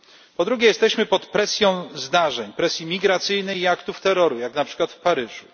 Po drugie, jesteśmy pod presją zdarzeń, presji migracyjnej i aktów terroru, jak na przykład w Paryżu.